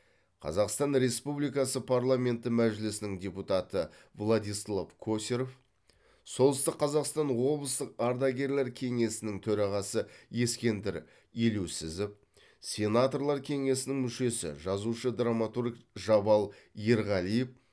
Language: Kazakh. қазақстан республикасы парламенті мәжілісінің депутаты владислав косарев солтүстік қазақстан облыстық ардагерлер кеңесінің төрағасы ескендір елеусізов сенаторлар кеңесінің мүшесі жазушы драматург жабал ерғалиев